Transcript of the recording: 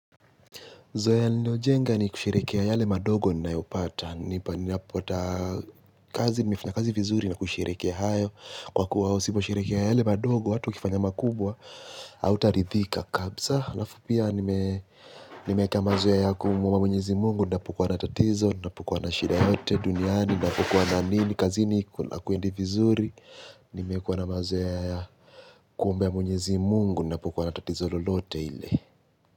Zoea niliyojenga nikusherehekea yale madogo ninayopata ninapata kazi, nimefanya kazi vizuri na kusherekea hayo. Kwa kuwa usiposherehekea yale madogo, hata ukifanya makubwa, hautaridhika. Kabisa, halafu pia, nimewekea mazoea kumwomba mwenyezi Mungu, ninapokuwa na tatizo, ninapokuwa na shida yeyote duniani, ninapokuwa na nini, kazini hakwendi vizuri, nimekuwa mazoea ya kumwombea mwenyezi Mungu, ninapukuwa na tatizo lolote ile.